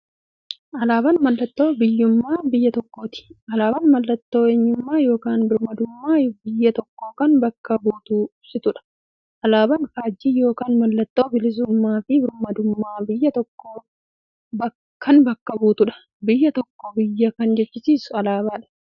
Alaaban mallattoo biyyuummaa biyya tokkooti. Alaabaan mallattoo eenyummaa yookiin birmaadummaa biyya tokkoo kan bakka buutuuf ibsituudha. Alaaban faajjii yookiin maallattoo bilisuummaafi birmaadummaa biyya tokkoo kan bakka buutuudha. Biyya tokko biyya kan jechisisuu alaabadha.